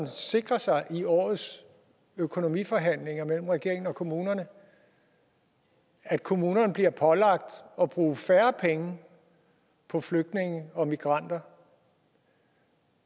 sikre sig i årets økonomiforhandlinger mellem regeringen og kommunerne at kommunerne bliver pålagt at bruge færre penge på flygtninge og migranter